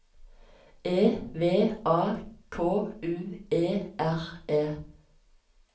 E V A K U E R E